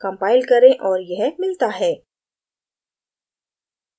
compile करें और यह मिलता है